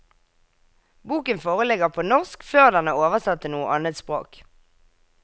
Boken foreligger på norsk før den er oversatt til noe annet språk.